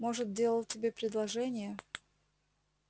может делал тебе предложение